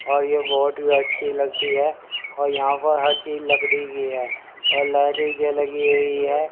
आ ये बहोत ही अच्छी लगती है और यहां पर हर चीज लकड़ी की है और लाइटें लगी हुई है।